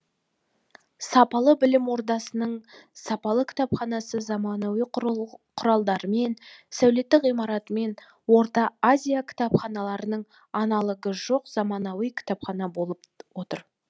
сапалы білім ордасының сапалы кітапханасы замануи құралдарымен сәулетті ғимаратымен орта азия кітапханаларының аналогы жоқ заманауи кітапхана болып отыр